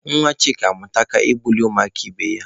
Nwa Chika amụka ịbuli ụmụaka ibe ya.